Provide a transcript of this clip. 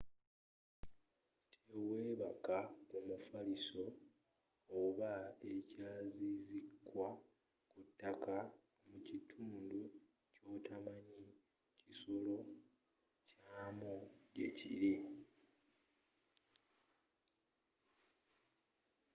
tewebaka ku mufaliso oba ekyezizikwa ku ttaka mu kitundu kyotamanyi kisolo kyamu gyekiri